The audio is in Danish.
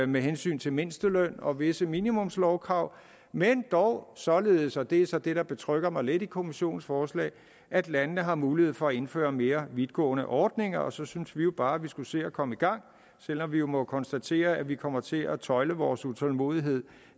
med hensyn til mindsteløn og visse minimumslovkrav men dog således og det er så det der betrygger mig lidt i kommissionens forslag at landene har mulighed for at indføre mere vidtgående ordninger og så synes vi jo bare at vi skulle se at komme i gang selv om vi må konstatere at vi kommer til at tøjle vores utålmodighed